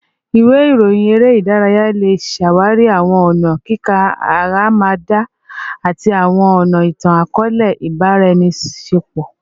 Iwe iroyin ere idaraya le ṣawari awọn ọna kika aramada ati awọn ọna itan-akọọlẹ ibaraenisepo